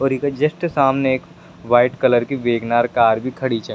और इक जस्ट सामने एक वाइट कलर की वैगनार कार भी खड़ी छे।